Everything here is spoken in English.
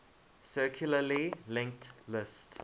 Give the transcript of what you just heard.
circularly linked list